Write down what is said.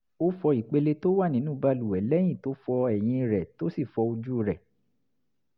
ó fọ ìpele tó wà nínú balùwẹ̀ lẹ́yìn tó fọ eyín rẹ̀ tó sì fọ ojú rẹ̀